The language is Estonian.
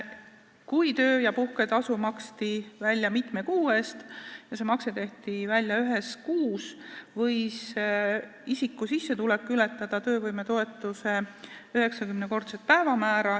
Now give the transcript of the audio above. Kui töö- ja puhketasu maksti välja mitme kuu eest ja see makse tehti välja ühes kuus, võis isiku sissetulek ületada töövõimetoetuse 90-kordset päevamäära.